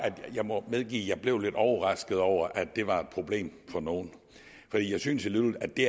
jeg må medgive at jeg blev lidt overrasket over at det var et problem for nogle for jeg synes alligevel at det